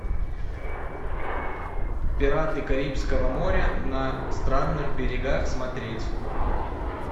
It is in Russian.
пираты карибского моря на странных берегах смотреть